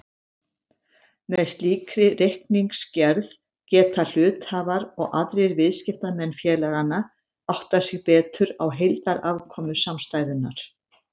Með slíkri reikningsgerð geta hluthafar og aðrir viðskiptamenn félaganna áttað sig betur á heildarafkomu samstæðunnar.